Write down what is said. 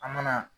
An mana